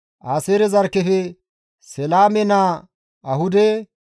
Aaseere zarkkefe Seleeme naa Ahude,